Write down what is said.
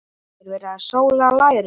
Er verið að sóla lærin?